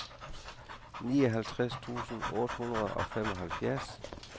nioghalvtreds tusind otte hundrede og femoghalvfjerds